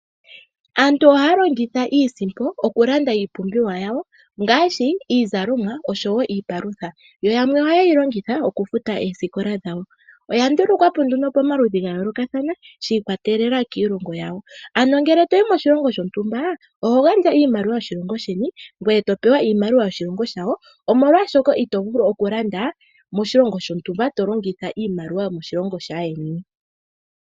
Aantu ohaya longitha iisimpo okulanda iipumbiwa yawo ngaashi iizalomwa osho wo iipalutha yo yamwe ohaye yi longitha okufuta oosikola dhawo. Oya ndulukwa po nduno pamaludhi gayoolokathana shi ikwatelela kiilongo yawo ano ngele toyi moshilongo shontumba oho gandja iimaliwa yoshilongo sheni ngoye topewa iimaliwa yoshilongo shawo molwaashoka ito vulu okulanda moshilongo shontumba tolongitha iimaliwa yomoshilongo shaayeni.